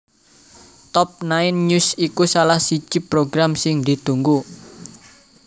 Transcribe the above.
Top Nine News iku salah siji program sing ditunggu